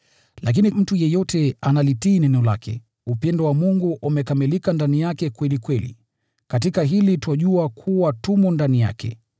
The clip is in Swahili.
Lakini mtu yeyote anayelitii neno lake, upendo wa Mungu umekamilika ndani yake kweli kweli. Katika hili twajua kuwa tumo ndani yake.